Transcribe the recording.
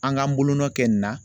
An k'an bolonɔ kɛ nin na